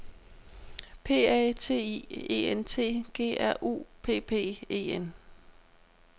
P A T I E N T G R U P P E N